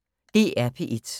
DR P1